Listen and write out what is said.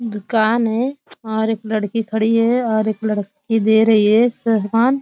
दुकान है और एक लड़की खड़ी है और एक लड़की दे रही है सामान।